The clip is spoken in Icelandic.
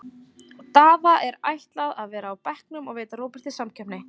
Daða er ætlað að vera á bekknum og veita Róberti samkeppni.